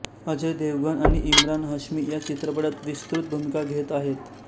अजय देवगण आणि इमरान हाश्मी या चित्रपटात विस्तृत भूमिका घेत आहेत